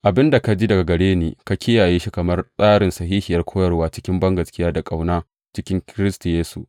Abin da ka ji daga gare ni, ka kiyaye shi kamar tsarin sahihiyar koyarwa, cikin bangaskiya da ƙauna cikin Kiristi Yesu.